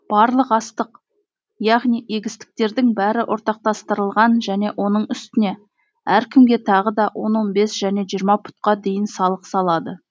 барлық астық яғни егістіктердің бәрі ортақтастырылған және оның үстіне әркімге тағы да он он бес және жиырма пұтқа дейін салық салады